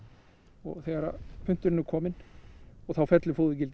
og þegar punturinn er kominn þá fellur